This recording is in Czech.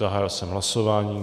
Zahájil jsem hlasování.